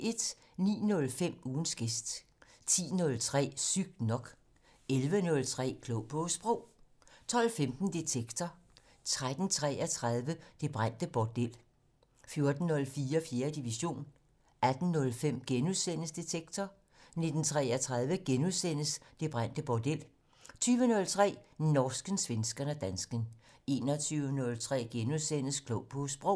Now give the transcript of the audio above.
09:05: Ugens gæst 10:03: Sygt nok 11:03: Klog på Sprog 12:15: Detektor 13:33: Det brændte bordel 14:03: 4. division 18:05: Detektor * 19:33: Det brændte bordel * 20:03: Norsken, svensken og dansken 21:03: Klog på Sprog *